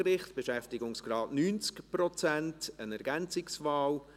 Ich bitte Sie, wirklich um 13.30 Uhr wieder bereit zu sein.